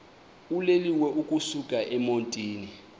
uloliwe ukusuk emontini